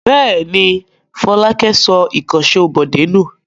Bẹ́ẹ̀ ni, Fọlákẹ́ sọ ìkànṣó Bọ̀dé nù.